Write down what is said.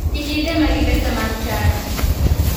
Kik itema gi pesa mar chadi.